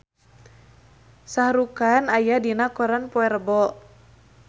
Shah Rukh Khan aya dina koran poe Rebo